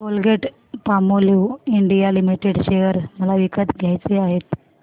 Colgate Palmolive India limited share मला विकत घ्यायचे आहेत